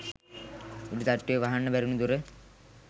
උඩ තට්ටුවේ වහන්න බැරි වුණ දොර